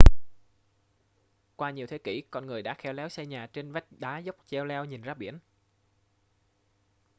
qua nhiều thế kỷ con người đã khéo léo xây nhà trên vách đá dốc cheo leo nhìn ra biển